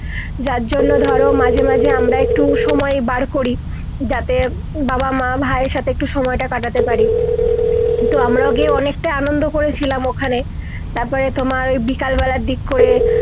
যার জন্য ধরো মাঝে মাঝে একটু সময় বার করি যাতে বাবা মা ভাই এর সাথে একটু সময় টা কাটাতে পারি তো আমরা অনেকটা আনন্দ করছিলাম ওখানে তার পরে তোমার বিকাল বেলার দিক করে